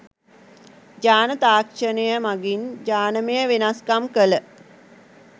ජාන තාක්ෂණය මගින් ජානමය වෙනස්කම් කළ